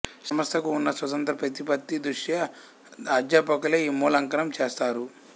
సంస్థకు ఉన్న స్వతంత్ర ప్రతిపత్తి దృష్ట్యా అధ్యాపకులే ఈ మూల్యాంకనం చేస్తారు